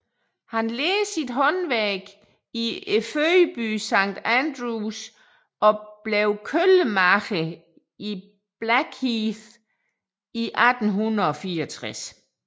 Han lærte sit håndværk i fødebyen St Andrews og blev køllemager i Blackheath i 1864